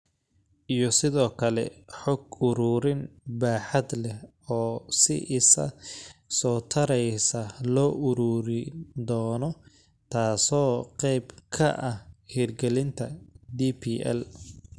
Iyo sidoo kale xog-ururin baaxad leh oo si isa soo taraysa loo ururin doono taasoo qayb ka ah hirgelinta DPL.